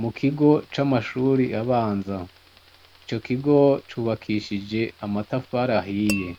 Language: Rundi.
Mukigo c’amashure abanza, ico kigo c’ubakishije amatafari ahiye,